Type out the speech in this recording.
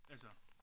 Altså